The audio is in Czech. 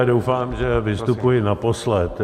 Já doufám, že vystupuji naposled.